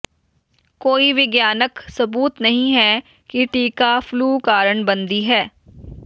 ਕੋਈ ਵਿਗਿਆਨਕ ਸਬੂਤ ਨਹੀਂ ਹੈ ਕਿ ਟੀਕਾ ਫਲੂ ਕਾਰਨ ਬਣਦੀ ਹੈ